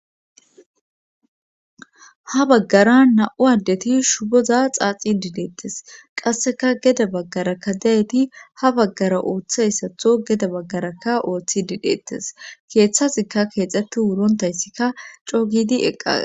Ha baggara na7u addeti shuboza xaaxi dideettes qasseka geda baggarakka dayeti ha baggara ooththayssatho geda baggarakka ooththi didheettes keeththazikka keexxetti wurontayssikka coogidi eqqag